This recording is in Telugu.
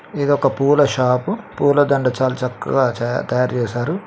ఇది ఒక పూల షాపు పూలదండ చాల చక్కగా తయారు చేశారు.